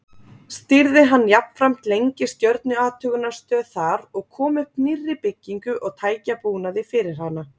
Stýrði hann jafnframt lengi stjörnuathugunarstöð þar og kom upp nýrri byggingu og tækjabúnaði fyrir hana.